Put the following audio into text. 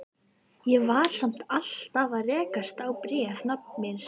Ég var samt alltaf að rekast á bréf nafna míns.